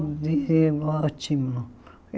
Vivi um ótimo.